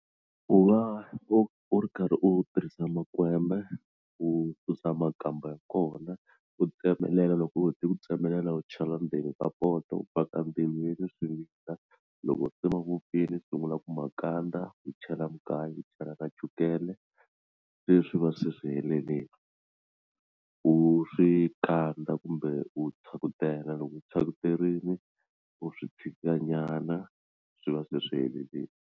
U va u u ri karhi u tirhisa makwembe u susa makamba ya kona u tsemelela loko u hete ku tsemelela u chela ndzeni poto u faka ndzilweni swi vila loko se ma vupfile u sungula ku makandza u chela mugayo u chela na chukele se swi va se swi helelini u swi kandza kumbe u phyakutela loko u phyakuterini u swi tshika nyana swi va se swi helelini.